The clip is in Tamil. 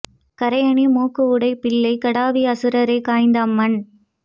கறை அணி மூக்கு உடைப் புள்ளைக் கடாவி அசுரரைக் காய்ந்த அம்மான்